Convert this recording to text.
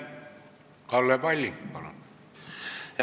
Kalle Palling, palun!